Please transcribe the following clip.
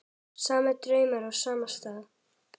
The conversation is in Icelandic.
Sami draumur á sama stað.